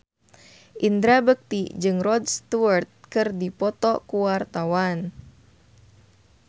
Indra Bekti jeung Rod Stewart keur dipoto ku wartawan